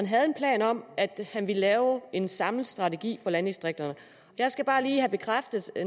havde en plan om at han ville lave en samlet strategi for landdistrikterne jeg skal bare lige have bekræftet